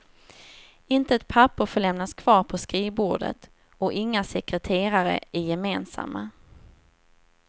Inte ett papper får lämnas kvar på skrivbordet, och inga sekreterare är gemensamma.